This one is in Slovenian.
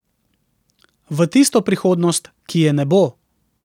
V tisto prihodnost, ki je ne bo.